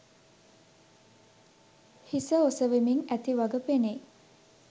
හිස ඔසවමින් ඇති වග පෙනෙයි